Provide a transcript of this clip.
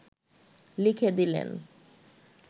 লিখে দিলেন